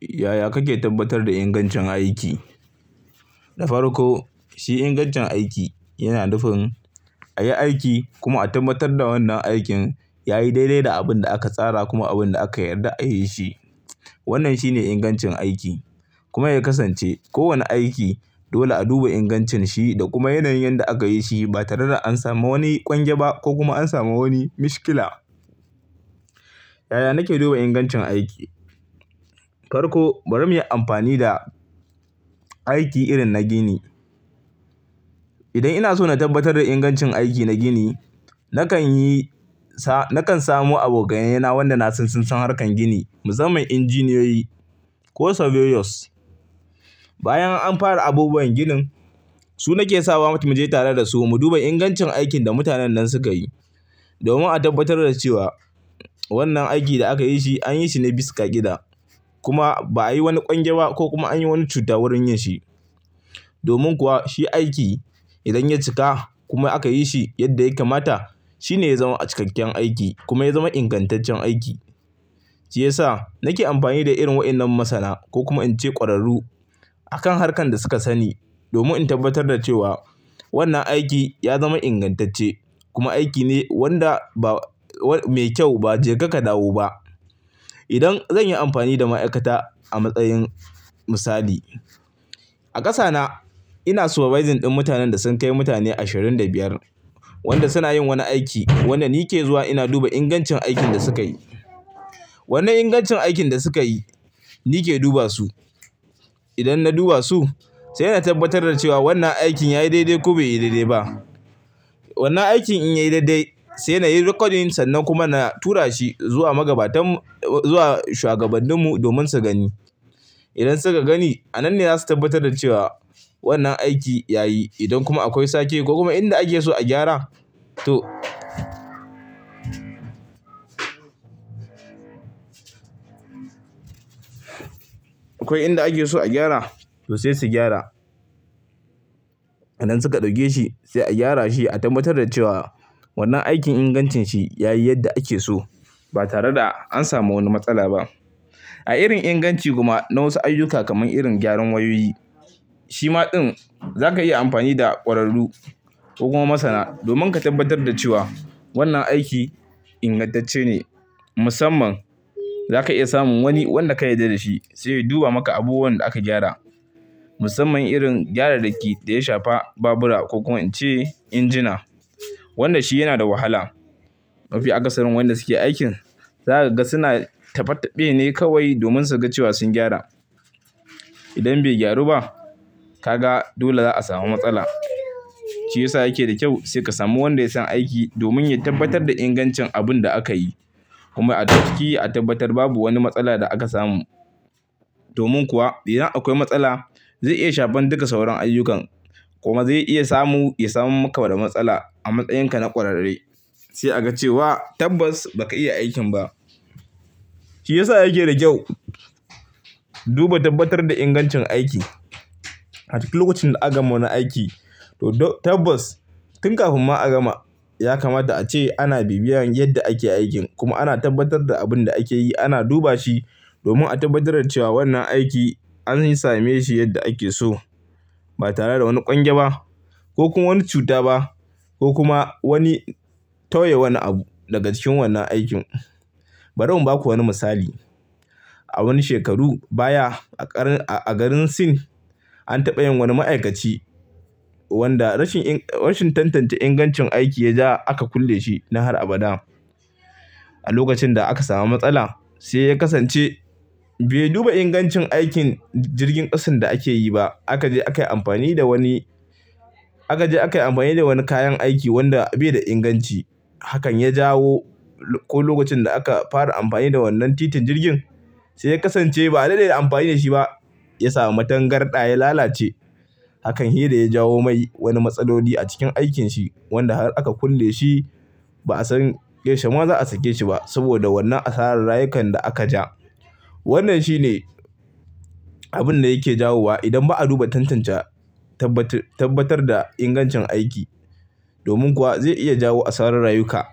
Yaya kake tabbatar da ingancin aiki? Da farko shi ingancin aiki yana nufin a yi aiki kuma a tabbatar da wannan aikin yayi daidai da abun da aka tsara kuma abun da aka yarda a yi shi. Wannan shine ingancin aiki kuma ya kasance kowani aiki dole a duba ingancin shi da kuma yanayin yanda aka yi shi ba tare da an samu wani ƙwan gya ba ko kuma an samu wani mashkila. Yaya nake duba ingancin aiki? Farko bari muyi amfani da aiki irin na gini. Idan ina so na tabbatar da ingancin aiki na gini, nakan yi sa-- nakan samu abokainaina wanda na san sun san harkar gini, musaman injiniyoyi ko surveyors. Bayan an fara abubuwan ginin, su nake sawa mutum muje tare da su mu duba ingancin aikin da mutanen nan suka yi domin a tabbatar da cewa wannan aikin da aka yi shi an yi shi na bisa ka'ida kuma ba a yi wani ƙwangya ba ko kuma an yi wani cuta wurin yin shi. Domin kuwa shi aiki idan ya cika kuma aka yi shi yadda ya kamata, shi ne ya zama cikakken aiki kuma ya zama ingantaccen aiki. Shi yasa nake amfani da irin wayannan masana ko kuma in ce ƙwararru a kan harkar da suka sani domin in tabbatar da cewa wannan aiki ya zama ingantacce kuma aiki ne wanda ba-- mai kyau ba, bai je ka ka dawo ba. Idan zan yi amfani da ma'aikata a matsayin misali, a ƙasa na ina supervising ɗin mutanen da sun kai mutane ashirin da biyar wanda suna yin wani aiki wanda ni ke zuwa ina duba ingancin aikin da suka yi. Wannan ingancin aikin da suka yi ni ke duba su. Idan na duba su, sai na tabbatar da cewa wannan aikin yayi daidai ko bai yi daidai ba. Wannan aikin in yayi daidai sai na yi rikodin san nan kuma na tura shi zuwa magabatan mu-- zuwa shugabannin mu domin su gani. Idan suka gani, a nan ne zasu tabbatar da cewa wannan aiki yayi. Idan kuma akwai sake ko kuma inda ake so a gyara to-- akwai inda ake so a gyara to sai su gyara. Idan suka ɗauke shi sai a gyara shi a tabbatar da cewa wannan aikin ingancin shi yayi yadda ake so ba tare da an samu wani matsala ba. A irin inganci kuma na wasu ayyuka kamar irin gyaran wayoyi, shi ma ɗin za ka iya amfani da ƙwararru ko kuma masana domin ka tabbatar da cewa wannan aiki ingantacce ne. Musamman za ka iya samun wani wanda ka yarda da shi zai duba maka abubuwan da aka gyara. Musamman irin gyararraki da ya shafa babura ko in ce injina wanda shi yana da wahala. Mafiya akasarin wanda suke aikin, za ka ga suna taɓe-taɓe ne kawai domin su ga cewa sun gyara. Idan bai gyaru ba, ka ga dole za a samu matsala. Shi ya sa yake da kyau sai ka samu wanda ya san aiki domin ya tabbatar da ingancin abun da aka yi. Kuma a cikin a tabbatar babu wani matsala da aka samu. Domin kuwa idan akwai matsala zai iya shafar duka sauran ayyukan kuma zai iya samu-- ya samu maka da matsala a matsayin ka na ƙwararre. Sai a ga cewa tabbas ba ka iya aikin ba. Shi ya sa yake da kyau duba tabbatar da ingancin aiki a cikin lokacin da aka ma na aiki. To to tabbas tun kafin ma a gama ya kamata a ce ana bibiyan yadda ake aikin kuma ana tabbatar da abin da ake yi, ana duba shi domin a tabbatar da cewa wannan aiki an same shi yadda ake so ba tare da wani ƙwan gya ba ko kuma wani cuta ba ko kuma wani-- ta yawa wani abu daga cikin wannan aikin. Bari mun baku wani misali. A wani shekaru baya a ƙar-- a garin Sin an taɓa yin wani ma'aikaci wanda rashin in-- rashin tantance ingancin aiki ya ja aka kulle shi na har abada. A lokacin da aka samu matsala sai ya kasance bai duba ingancin aikin jirgin ƙasan da ake yi ba. Aka je aka yi amfani da wani-- aka je aka yi amfani da wani kayan aiki wanda bai da inganci. Hakan ya jawo ko lokacin da aka fara amfani da wannan titin jirgin sai ya kasance ba a daɗe da amfani da shi ba ya samu matan garda ya lalace. Hakan hiira ya jawo mai wani matsaloli a cikin aikinsa wanda har aka kulle shi ba a san ƙarshe ma za a sake shi ba saboda wannan asarar rayukan da aka ja. Wannan shine abin da yake jawo wa idan ba a duba, tantance, tabbatar da ingancin aiki. Domin kuwa zai iya jawo asarar rayuka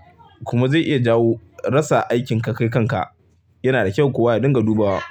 kuma zai iya jawo rasa aikin kakarkarka. Yana da kyau kuwa idan ka duba wa.